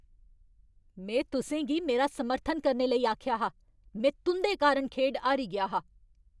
में तुसें गी मेरा समर्थन करने लेई आखेआ हा ! में तुं'दे कारण खेढ हारी गेआ हा!